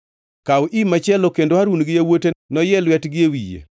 “Kaw im machielo kendo Harun gi yawuote noyie lwetgi e wiye.